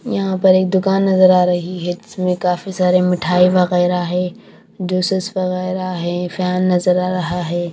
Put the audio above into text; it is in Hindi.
यहां पर एक दुकान नजर आ रही है जीसमें काफी सारे मिठाई वगैरह है जूसेस वगैरह हैं फैन नजर आ रहा है।